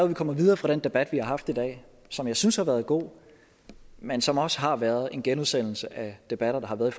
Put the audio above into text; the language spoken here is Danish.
vi kommer videre fra den debat vi har haft i dag som jeg synes har været god men som også har været en genudsendelse af debatter der har været